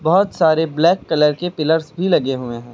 बहोत सारे black colour के पिलर्स भी लगे हुए हैं।